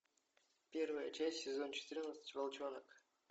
первая часть сезон четырнадцать волчонок